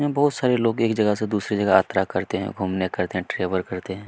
यहाँ बहुत सारे लोग एक जगह से दूसरे जगह यात्रा करते है घूमने करते है ट्रैवल करते हैं।